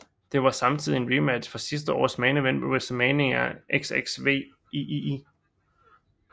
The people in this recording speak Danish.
Det var samtidig en rematch fra sidste års main event ved WrestleMania XXVIII